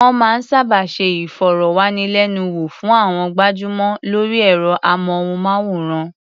Wọ́n máa ń sábà ṣe ìfọ̀rọ̀wánilẹ́nuwò fún àwọn gbajúmọ̀ lórí ẹ̀rọ-amóhùnmáwòrán.